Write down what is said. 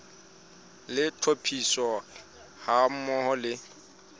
le tlhophiso ha mmoho le